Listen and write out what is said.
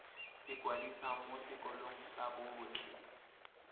ikwadisa mo sekolong sa botlhe